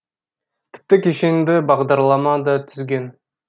тіпті кешенді бағдарлама да түзген